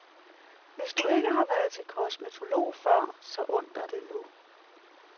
Hvis du ikke har været til kosmetolog før, så und dig det nu.